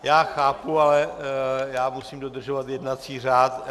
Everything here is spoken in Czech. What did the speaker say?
Já chápu, ale já musím dodržovat jednací řád.